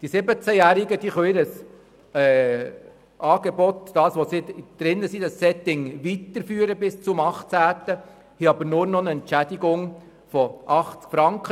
Die 17-Jährigen können das Setting, in dem sie sich befinden, bis zum 18. Lebensjahr weiterführen, erhalten aber nur noch eine Entschädigung von 80 Franken.